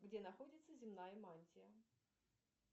где находится земная мантия